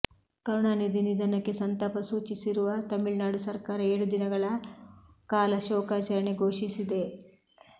ಕರುಣಾನಿಧಿ ನಿಧನಕ್ಕೆ ಸಂತಾಪ ಸೂಚಿಸಿರುವ ತಮಿಳುನಾಡು ಸರ್ಕಾರ ಏಳು ದಿನಗಳ ಕಾಲ ಶೋಕಾಚರಣೆ ಘೋಷಿಸಿದೆ